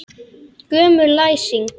Gömul læsing.